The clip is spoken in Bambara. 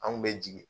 An kun bɛ jigin